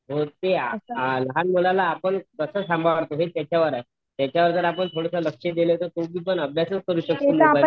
लहान मुलाला आपण कास सांभाळतो त्याच्यावर आहे हे त्याच्यावर जर आपण थोड़स लक्ष दिल तर तो पुढे जाऊन अभ्यासच होऊ शकत